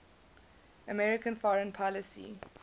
american foreign policy